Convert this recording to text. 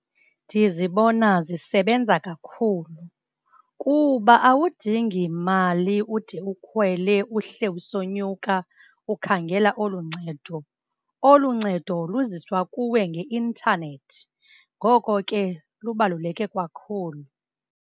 Ndizibona zisebenza kakhulu, kuba awudingi mali ude ukhwele uhle usonyuka ukhangela olu ncedo. Olu ncedo luziswa kuwe ngeintanethi. Ngoko ke, lubaluleke kwakhulu.